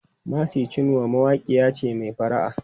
Mercy Chinwo mawaƙiya ce mai fara'a.